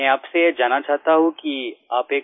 मैं आपसे जानना चाहता हूँ कि आप एक